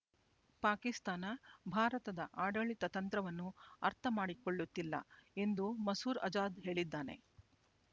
ಪಾಕಿಸ್ತಾನ ಭಾರತದ ಆಡಳಿತತಂತ್ರವನ್ನು ಅರ್ಥ ಮಾಡಿಕೊಳ್ಳುತ್ತಿಲ್ಲ ಎಂದು ಮಸೂರ್ ಅಜಾದ್ ಹೇಳಿದ್ದಾನೆ